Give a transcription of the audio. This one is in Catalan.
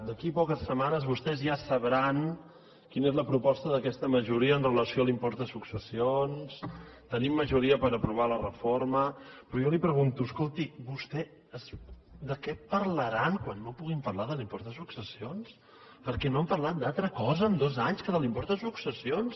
d’aquí a poques setmanes vostès ja sabran quina és la proposta d’aquesta majoria amb relació a l’impost de successions tenim majoria per aprovar la reforma però jo li pregunto escolti vostès de què parlaran quan no puguin parlar de l’impost de successions perquè no han parlat d’altra cosa en dos anys que de l’impost de successions